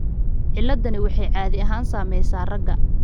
Ciladdani waxay caadi ahaan saamaysaa ragga.